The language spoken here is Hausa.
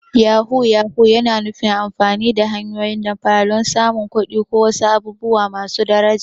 Yahu-yahu yana nufin amfani da hanyoyin damfara don samun kuɗi ko wasu abubuwa masu daraja.